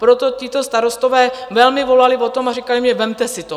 Proto tito starostové velmi volali po tom a říkali mně: Vemte si to.